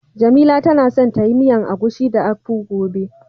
Jamila tana son ta yi miyan agushi da "akpu" gobe.